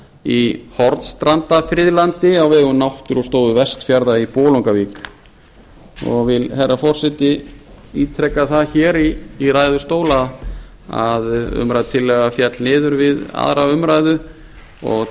í hornstrandafriðlandi á vegum náttúrustofu vestfjarða í bolungarvík ég vil herra forseti ítreka það hér í ræðustól að umrædd tillaga féll niður við aðra umræðu og